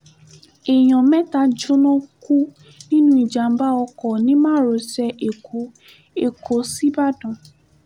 èèyàn mẹ́ta jóná kú nínú ìjàm̀bá ọkọ̀ ní márosẹ̀ èkó èkó sìbàdàn